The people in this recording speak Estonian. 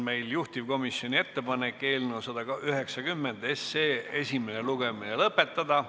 Juhtivkomisjoni ettepanek on eelnõu 190 esimene lugemine lõpetada.